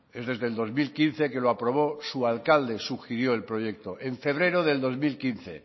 es desde el dos mil quince que lo aprobó su alcalde sugirió el proyecto en febrero del dos mil quince